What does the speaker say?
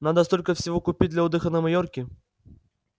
надо столько всего купить для отдыха на майорке